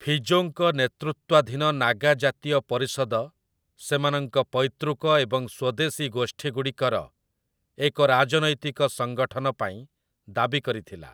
ଫିଜୋଙ୍କ ନେତୃତ୍ୱାଧୀନ ନାଗା ଜାତୀୟ ପରିଷଦ ସେମାନଙ୍କ ପୈତୃକ ଏବଂ ସ୍ୱଦେଶୀ ଗୋଷ୍ଠୀଗୁଡ଼ିକର ଏକ ରାଜନୈତିକ ସଙ୍ଗଠନ ପାଇଁ ଦାବି କରିଥିଲା ।